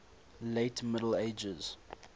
late middle ages